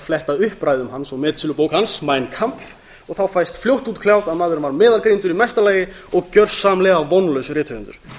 fletta upp ræðum hans og metsölubók hans mein kampf og þá fæst fljótt útkljáð að maðurinn var meðalgreindur í mesta lagi og gjörsamlega vonlaus rithöfundur